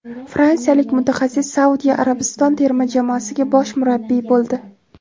Fransiyalik mutaxassis Saudiya Arabistoni terma jamoasiga bosh murabbiy bo‘ldi.